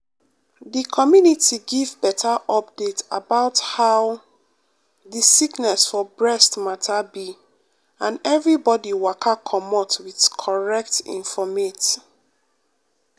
di community give beta update about how um di sickness for breast mata be and everybodi waka comot wit corret infomate. um